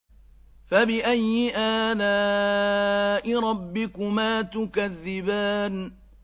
فَبِأَيِّ آلَاءِ رَبِّكُمَا تُكَذِّبَانِ